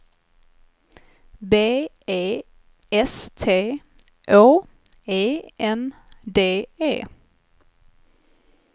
B E S T Å E N D E